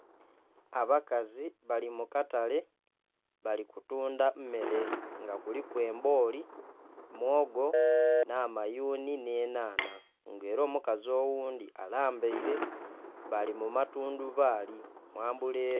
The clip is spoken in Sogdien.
Abakazi bali mukatale bali kutunda mmere nga kuliku embooli, mwogo, na mayuuni ne nhaana nga era omukazi oghundi alambaire, bali mumatundubali umbrella